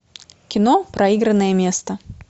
кино проигранное место